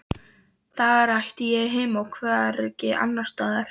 Þar ætti ég heima og hvergi annarstaðar.